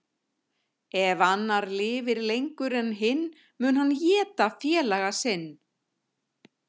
Ef annar lifir lengur en hinn mun hann éta félaga sinn.